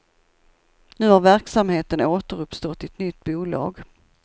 Nu har verksamheten återuppstått i ett nytt bolag.